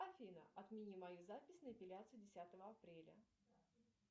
афина отмени мою запись на эпиляцию десятого апреля